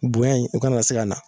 Bonya in o kana se ka na